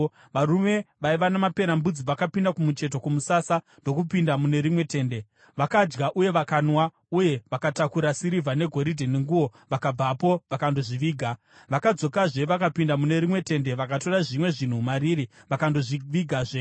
Varume vaiva namaperembudzi vakapinda kumucheto kwomusasa ndokupinda mune rimwe tende. Vakadya uye vakanwa, uye vakatakura sirivha, negoridhe nenguo vakabvapo vakandozviviga. Vakadzokazve vakapinda mune rimwe tende vakatora zvimwe zvinhu mariri vakandozvivigazve.